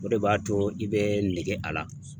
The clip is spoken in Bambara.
O de b'a to i bɛ nege a la.